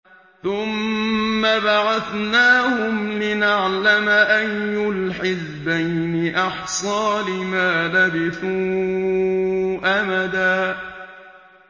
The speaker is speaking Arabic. ثُمَّ بَعَثْنَاهُمْ لِنَعْلَمَ أَيُّ الْحِزْبَيْنِ أَحْصَىٰ لِمَا لَبِثُوا أَمَدًا